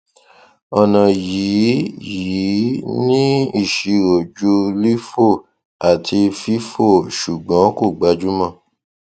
ọna yìí yìí ní iṣiro ju lifo àti fifo ṣùgbọn kò gbajúmọ